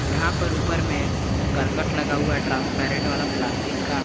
यहां पर ऊपर में करकट लगा हुआ ट्रांसपेरेंट वाला प्लास्टिक का।